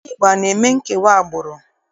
Ndị Igbo ana eme nkewa agbụrụ?